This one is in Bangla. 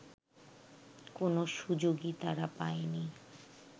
কোনো সুযোগই তারা পায়নি